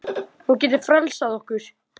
Hún getur frelsað okkur.